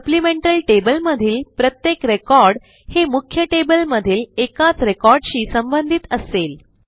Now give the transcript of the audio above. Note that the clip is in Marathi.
सप्लिमेंटल टेबल मधील प्रत्येक रेकॉर्ड हे मुख्य टेबल मधील एकाच रेकॉर्डशी संबंधित असेल